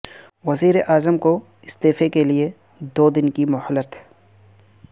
وزیراعظم کو استعفے کے لیے دو دن کی مہلت